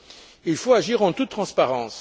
Et il faut agir en toute transparence.